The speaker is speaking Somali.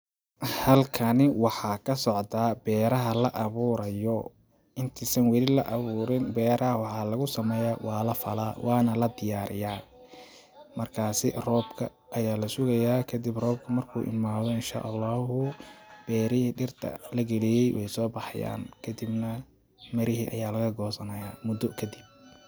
Halkani waxa kasocda beraha la aburayo inti san wali la aburin beeraha waxaa lagu sameya waa lafala wana la diyariya markasi robka aya lasugeya kadib marku robka imadho inshaallahu beeraha dirta lagaliye wey sobaxayin kadib mirihi aya laga gosanayo mudo kadib.